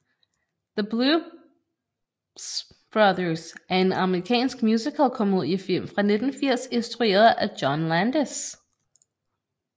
The Blues Brothers er en amerikansk musical komediefilm fra 1980 isntrueret af John Landis